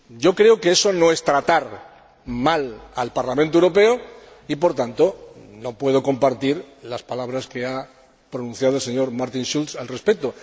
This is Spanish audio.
Creo que eso no es tratar mal al Parlamento Europeo y, por tanto, no puedo compartir las palabras que ha pronunciado el señor Schulz al respecto.